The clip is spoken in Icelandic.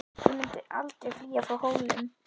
Ég mun aldrei flýja frá Hólum!